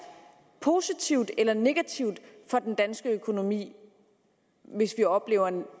positivt eller negativt for den danske økonomi hvis vi oplever en